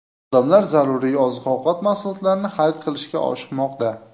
Odamlar zaruriy oziq-ovqat mahsulotlarini xarid qilishga oshiqmoqda.